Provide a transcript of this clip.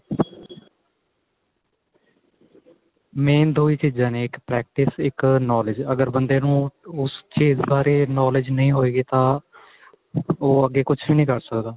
main ਦੋ ਹੀ ਚੀਜ਼ਾਂ ਨੇ ਇੱਕ practice ਇੱਕ knowledge ਅਗਰ ਬੰਦੇ ਨੂੰ ਉਸ ਚੀਜ ਬਾਰੇ knowledge ਨਹੀਂ ਹੋਏਗੀ ਤਾਂ ਉਹ ਅੱਗੇ ਕੁੱਝ ਵੀ ਨਹੀਂ ਕਰ ਸਕਦਾ